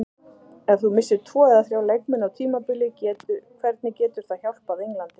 Ef þú missir tvo eða þrjá leikmenn á tímabili hvernig getur það hjálpað Englandi?